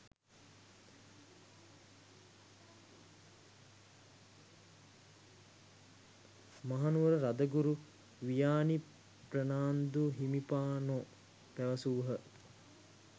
මහනුවර රදගුරු වියානි ප්‍රනාන්දු හිමිපාණෝ පැවසූහ.